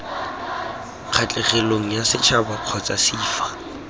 kgatlhegelong yasetšhaba kgotsa c fa